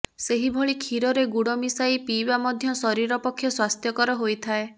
ସେହିଭଳି କ୍ଷୀରରେ ଗୁଡ଼ ମିଶାଇ ପିଇବା ମଧ୍ୟ ଶରୀର ପକ୍ଷେ ସ୍ୱାସ୍ଥ୍ୟକର ହୋଇଥାଏ